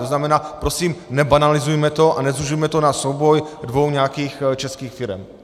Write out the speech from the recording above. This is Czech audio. To znamená, prosím, nebanalizujme to a nezužujme to na souboj dvou nějakých českých firem.